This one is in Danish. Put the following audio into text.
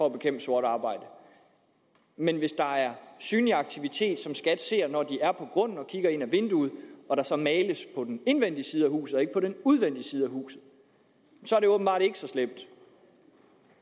at bekæmpe sort arbejde men hvis der er synlig aktivitet som skat ser når de er på grunden og kigger ind ad vinduet og der så males på den indvendige side af huset og ikke på den udvendige side af huset så er det åbenbart ikke så slemt